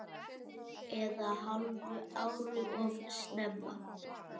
Eða hálfu ári of snemma.